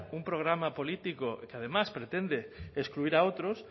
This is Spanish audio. un programa político que además pretende excluir a otros